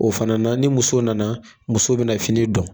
O fana na ni muso nana muso bɛna fini dɔn